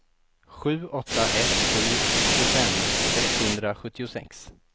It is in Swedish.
sju åtta ett sju tjugofem sexhundrasjuttiosex